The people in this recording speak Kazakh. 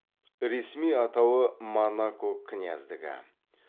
ресми атауы монако княздігі